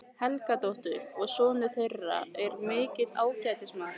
Helgadóttur, og sonur þeirra er mikill ágætismaður.